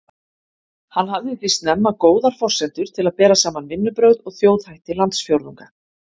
Hann hafði því snemma góðar forsendur til að bera saman vinnubrögð og þjóðhætti landsfjórðunga.